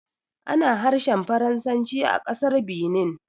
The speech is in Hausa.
Ana harshen Faransanci a ƙasar Benin